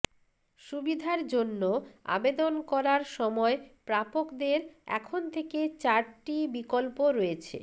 সুবিধার জন্য আবেদন করার সময় প্রাপকদের এখন থেকে চারটি বিকল্প রয়েছে